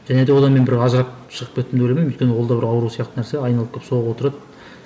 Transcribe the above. және де одан мен бір ажырап шығып кеттім деп ойламаймын өйткені ол да бір ауру сияқты нәрсе айналып келіп соғып отырады